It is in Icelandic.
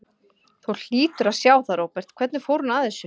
Þú hlýtur að sjá það, Róbert, hvernig hún fór að þessu.